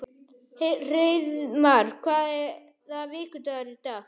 Hreiðmar, hvaða vikudagur er í dag?